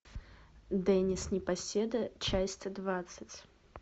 денис непоседа часть двадцать